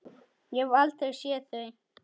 Ég hef aldrei séð þau!